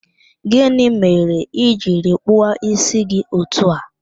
Gịnị mere ị jiri kpụọ ísí gị otu a?